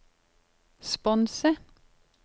sponse